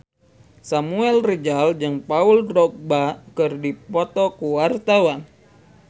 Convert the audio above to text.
Samuel Rizal jeung Paul Dogba keur dipoto ku wartawan